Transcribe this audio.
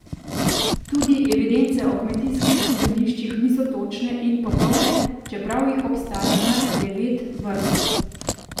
Tudi evidence o kmetijskih zemljiščih niso točne in popolne, čeprav jih obstaja kar devet vrst.